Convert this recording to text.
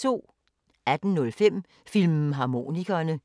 18:05: Filmharmonikerne